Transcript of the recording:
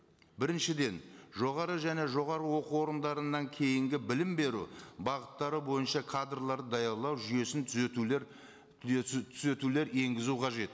біріншіден жоғары және жоғарғы оқу орындарынан кейінгі білім беру бағыттары бойынша кадрлар даярлау жүйесін түзетулер түзетулер енгізу қажет